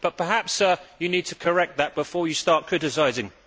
But perhaps you need to correct that before you start criticising.